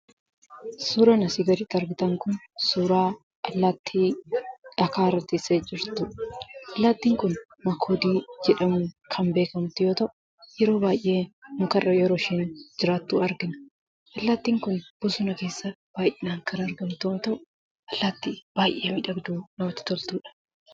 Suuraan asiin gaditti argitan Kun, suuraa allaattii dhagaa irraa teessee jirtuudha. Allaattiin Kun makoodii jedhamuun kan beekamtu yemmuu ta'u, yeroo baayyee mukarra yeroo isheen jiraattu argina. Allaattiin Kun bosona keessa baayyinaan kan argamtu yoo ta'u, allaattii baayyee miidhagduu namatti toltuudha.